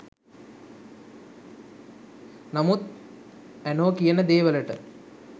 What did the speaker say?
නමුත් ඇනෝ කියන දේ වලට